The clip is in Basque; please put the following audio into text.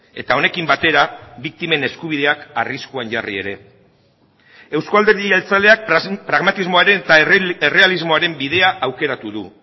eta honekin batera biktimen eskubideak arriskuan jarri ere euzko alderdi jeltzaleak pragmatismoaren eta errealismoaren bidea aukeratu du